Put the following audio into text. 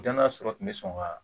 Dɔnna sɔrɔ kun bɛ sɔn ka